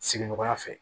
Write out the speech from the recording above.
Sigiɲɔgɔnya fɛ